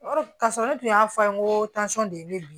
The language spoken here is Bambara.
Ka sɔrɔ ne tun y'a fɔ an ye ko de ye ne bi